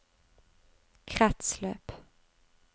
kretsløp